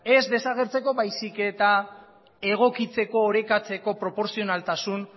ez desagertzeko baizik eta egokitzeko orekatzeko proportzionaltasun